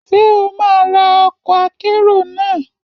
Ṣé o máa ra ọkọ̀ akérò náà?